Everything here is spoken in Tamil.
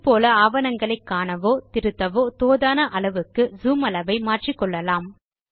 இது போல ஆவணங்களை காணவோ திருத்தவோ தோதான அளவுக்கு ஜூம் அளவை மாற்றிக்கொள்ளலாம்